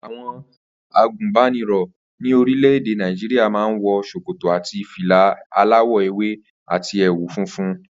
Àwo̩n àgùnbánirò̩ ní orílè̩-èdè Nàìjíríà máa ń wo̩ s̩òkòtò àti fìlà aláwò̩ ewé àti è̩wù funfun